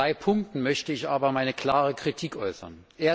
In drei Punkten möchte ich aber meine klare Kritik äußern.